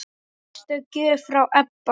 Sérstök gjöf frá Ebba.